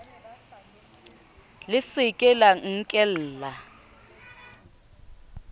le se ke la nkella